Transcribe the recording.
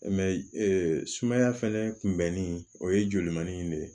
Mɛ sumaya fɛnɛ kun bɛnni o ye joli man di ne ye